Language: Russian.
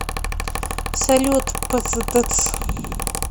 салют пздц